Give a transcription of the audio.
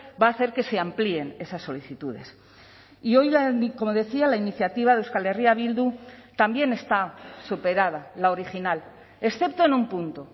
va a hacer que se amplíen esas solicitudes y hoy como decía la iniciativa de euskal herria bildu también está superada la original excepto en un punto